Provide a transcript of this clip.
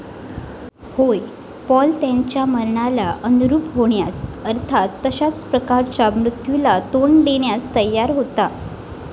होय, पौल त्याच्या मरणाला अनुरूप होण्यास, अर्थात तशाच प्रकारच्या मृत्यूला तोंड देण्यास तयार होता.